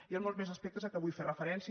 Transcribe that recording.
hi han molts més aspectes a què vull fer referència